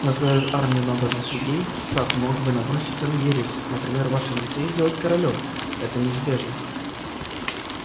возглавив армию набожных людей сатт мог бы наброситься на ересь например в вашем лице и сделать королём это неизбежно